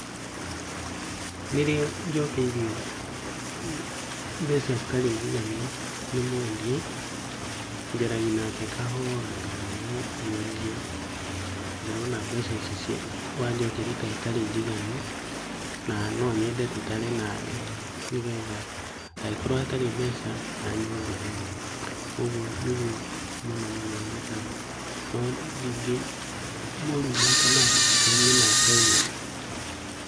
Rĩrĩa njokeirio mbeca citarĩ njiganu nĩ mwedia. Njaragia nake kahora ngamũĩra, ndĩrona mbeca ici wajokeria tacitarĩ njiganu, na no nyede tũtare nawe nĩgetha hangĩkorwo hatarĩ mbeca anyongerere. ũguo nĩguo mũno mũno njĩkaga. No ndĩngĩmũruma kana njarie nake ũru.